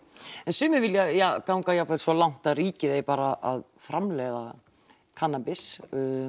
en sumir vilja ganga svo langt að ríkið eigi bara að framleiða kannabis